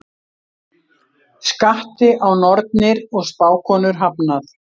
Skatti á nornir og spákonur hafnað